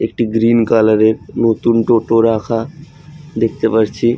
একটি green colour এর নতুন টোটো রাখা দেখতে পারছি।